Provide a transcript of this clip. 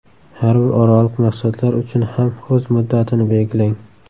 Har bir oraliq maqsadlar uchun ham o‘z muddatini belgilang.